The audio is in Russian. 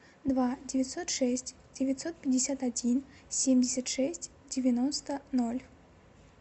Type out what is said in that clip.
два девятьсот шесть девятьсот пятьдесят один семьдесят шесть девяносто ноль